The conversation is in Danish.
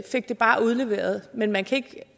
fik det bare udleveret men man kan